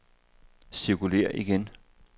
cirkulér igen